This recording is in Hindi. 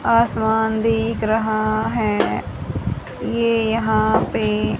आसमान दिख रहा है ये यहां पे--